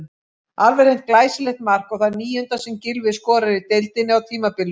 Alveg hreint glæsilegt mark og það níunda sem Gylfi skorar í deildinni á tímabilinu.